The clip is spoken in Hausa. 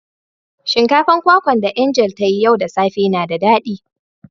Shinkafan kwakwa da "Angel" ta yi yau da safe na da dadi.